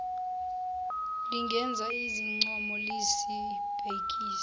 lingenza izincomo lizibhekise